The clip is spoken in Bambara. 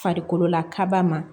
Farikolola kaba ma